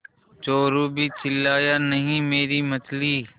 चोरु भी चिल्लाया नहींमेरी मछली